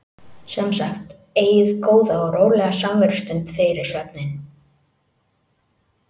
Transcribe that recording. Sem sagt: Eigið góða og rólega samverustund fyrir svefninn.